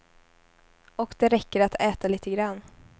Och det räcker att äta lite grann.